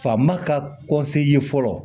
Fa ma ka ye fɔlɔ